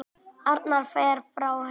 Arnar fer frá Haukum